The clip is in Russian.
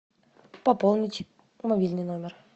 пополнить мобильный номер